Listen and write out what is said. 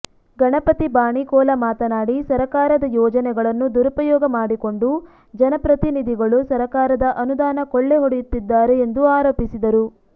ಗಣಪತಿ ಬಾಣಿಕೋಲ ಮಾತನಾಡಿ ಸರಕಾರದ ಯೋಜನೆಗಳನ್ನು ದುರುಪಯೋಗ ಮಾಡಿಕೊಂಡು ಜನಪ್ರತಿನಿಧಿಗಳು ಸರಕಾರದ ಅನುದಾನ ಕೊಳ್ಳೆ ಹೊಡಯುತ್ತಿದ್ದಾರೆ ಎಂದು ಆರೋಪಿಸಿದರು